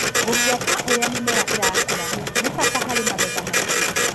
Gũbuata ũria mĩmera ĩrakũra nĩ bata harĩ magetha maingĩ.